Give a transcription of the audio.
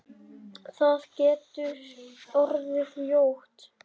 Það getur orðið ljótt.